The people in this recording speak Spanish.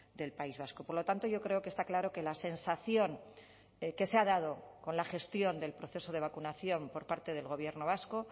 del país vasco por lo tanto yo creo que está claro que la sensación que se ha dado con la gestión del proceso de vacunación por parte del gobierno vasco